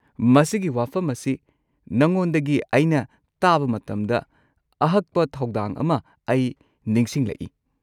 ꯃꯁꯤꯒꯤ ꯋꯥꯐꯝ ꯑꯁꯤ ꯅꯉꯣꯟꯗꯒꯤ ꯑꯩꯅ ꯇꯥꯕ ꯃꯇꯝꯗ ꯑꯍꯛꯄ ꯊꯧꯗꯥꯡ ꯑꯃ ꯑꯩ ꯅꯤꯁꯤꯡꯂꯛꯏ꯫